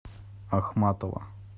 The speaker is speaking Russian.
ахматова